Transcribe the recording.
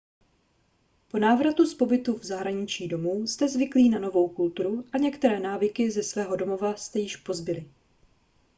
po návratu z pobytu v zahraničí domů jste zvyklí na novou kulturu a některé návyky ze svého domova jste již pozbyli